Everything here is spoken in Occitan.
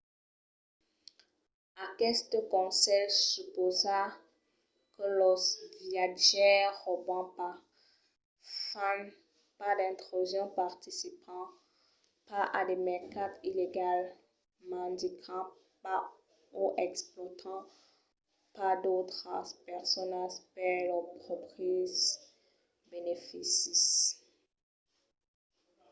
aqueste conselh supausa que los viatjaires rauban pas fan pas d'intrusions participan pas a de mercats illegals mendican pas o explòtan pas d'autras personas per lors pròpris beneficis